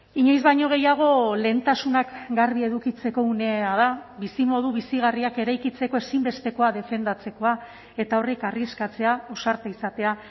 inoiz baino gehiago lehentasunak garbi edukitzeko unea da bizimodu bizigarriak eraikitzeko ezinbestekoa defendatzekoa eta horrek arriskatzea ausarta izatea